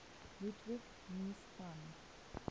ludwig mies van